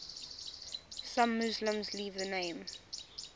some muslims leave the name